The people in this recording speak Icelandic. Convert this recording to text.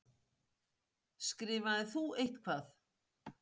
Skrifaðir þú eitthvað?